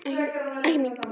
Ekki mín.